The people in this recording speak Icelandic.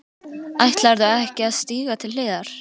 Ætlarðu ekki að stíga til hliðar?